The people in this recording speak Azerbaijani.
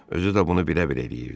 Özü də bunu bilə-bilə eləyirdi.